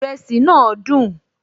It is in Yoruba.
Ìrẹsì náà dùn